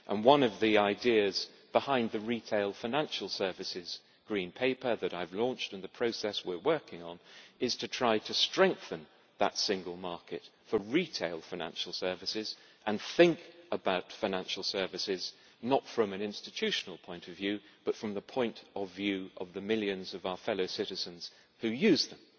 One of the ideas behind the Green paper on retail financial services that I have launched, and the process we are working on, is to try to strengthen that single market for retail financial services and think about financial services, not from an institutional point of view, but from the point of view of the millions of our fellow citizens who use them.